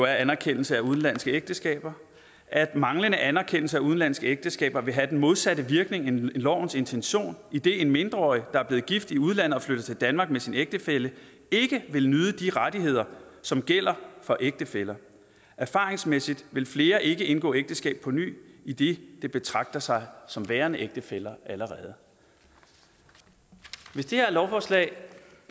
anerkendelse af udenlandske ægteskaber at manglende anerkendelse af udenlandske ægteskaber vil have den modsatte virkning end lovens intention idet en mindreårig der er blevet gift i udlandet og flytter til danmark med sin ægtefælle ikke vil nyde de rettigheder som gælder for ægtefæller erfaringsmæssigt vil flere ikke indgå ægteskab på ny idet de betragter sig som værende ægtefæller allerede hvis det her lovforslag